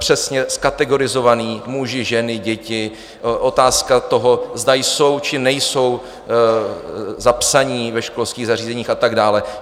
Přesně kategorizované: muži, ženy, děti, otázka toho, zda jsou či nejsou zapsaní ve školských zařízeních a tak dále.